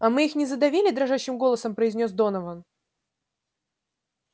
а мы их не задавили дрожащим голосом произнёс донован